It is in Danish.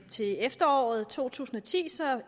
til efteråret to tusind og ti